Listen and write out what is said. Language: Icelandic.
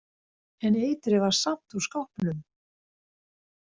En eitrið var samt úr skápnum?